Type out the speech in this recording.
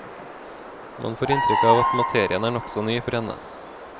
Man får inntrykk av at materien er nokså ny for henne.